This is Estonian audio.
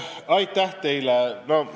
Aitäh teile!